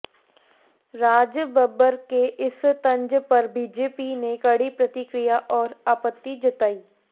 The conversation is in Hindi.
राजबब्बर के इस तंज पर बीजेपी ने कड़ी प्रतिक्रिया और आपत्ति जताई